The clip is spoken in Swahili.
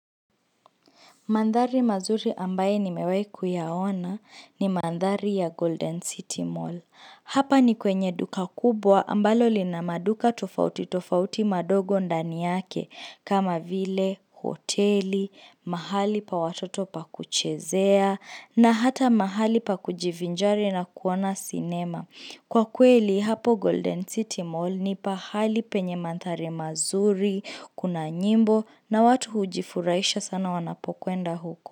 Mandhari mazuri ambayo nimewahi kuyaona ni mandhari ya Golden City Mall. Hapa ni kwenye duka kubwa ambalo lina maduka tofauti tofauti madogo ndani yake kama vile, hoteli, mahali pa watoto pa kuchezea na hata mahali pa kujivinjari na kuona sinema. Kwa kweli hapo Golden City Mall ni pahali penye mandhari mazuri, kuna nyimbo na watu hujifurahisha sana wanapokwenda huko.